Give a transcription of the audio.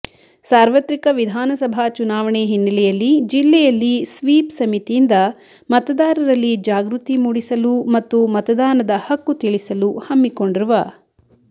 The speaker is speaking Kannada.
ಸಾರ್ವತ್ರಿಕ ವಿಧಾನಸಭಾ ಚುನಾವಣೆ ಹಿನ್ನೆಲೆಯಲ್ಲಿ ಜಿಲ್ಲೆಯಲ್ಲಿ ಸ್ವೀಪ್ ಸಮಿತಿಯಿಂದ ಮತದಾರರಲ್ಲಿ ಜಾಗೃತಿ ಮೂಡಿಸಲು ಮತ್ತು ಮತದಾನದ ಹಕ್ಕು ತಿಳಿಸಲು ಹಮ್ಮಿಕೊಂಡಿರುವ